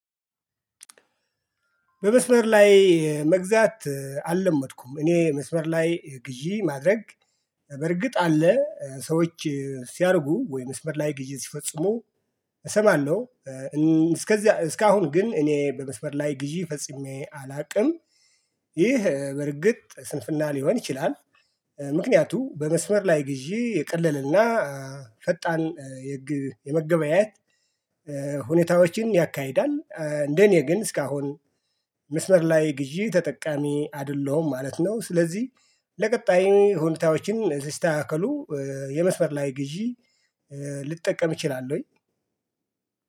በመስመር ላይ መግዛት አልለመድኩም እኔ መስመር ላይ ግዢ ማድረግ። በርግጥ አለ ሰዎች ሲያርጉ ወይም መስምር ላይ ግዢ ሲፈጽሙ እሰማለሁ። እስከዚያ እስካሁን ግን እኔ በመስመር ላይ ግዢ ፈጽሜ አላውቅም። ይህ በርግጥ ስንፍና ሊሆን ይችላል። ምክንያቱም በመስመር ላይ ግዢ የቀለለና ፈጣን የመገበያየት ሁኔታዎችን ያካሂዳል። እንደኔ ግን እስካሁን መስመር ላይ ግዢ ተጠቃሚ አይደለሁም ማለት ነው። ስለዚህ ለቀጣይ ሁኔታዎችን ሲስተካከሉ የመስመር ላይ ግዢ ልጠቀም ይችላል ወይ